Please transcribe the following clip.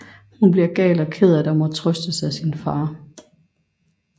Hun bliver gal og ked af det og må trøstes af sin far